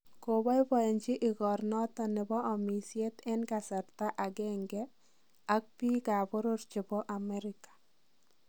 Koboiboenjin igornoton nebo omisiet en karsta ang'eng'e ak biik ab boror chebo Amerika.